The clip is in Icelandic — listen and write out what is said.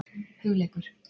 Hugleikur